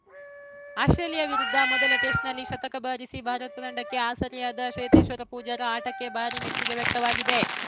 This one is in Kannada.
ಆಸ್ಪ್ರೇಲಿಯಾ ವಿರುದ್ಧ ಮೊದಲ ಟೆಸ್ಟ್‌ನಲ್ಲಿ ಶತಕ ಬಾರಿಸಿ ಭಾರತ ತಂಡಕ್ಕೆ ಆಸರೆಯಾದ ಚೇತೇಶ್ವರ್‌ ಪೂಜಾರ ಆಟಕ್ಕೆ ಭಾರೀ ಮೆಚ್ಚುಗೆ ವ್ಯಕ್ತವಾಗಿದೆ